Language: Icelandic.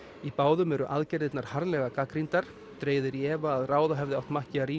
í báðum eru aðgerðirnar harðlega gagnrýndar dregið er í efa að ráða hefði átt